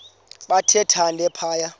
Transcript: bathe thande phaya